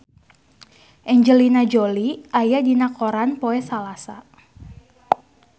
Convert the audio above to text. Angelina Jolie aya dina koran poe Salasa